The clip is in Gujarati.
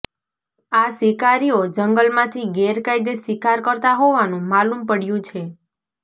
આ શિકારીઓ જંગલમાંથી ગેરકાયદે શિકાર કરતા હોવાનું માલુમ પડ્યું છે